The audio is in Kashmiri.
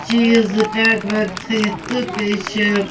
.چیٖزٹیگ ویگ تھٲیِتھ تہٕ بیٚیہِ چھ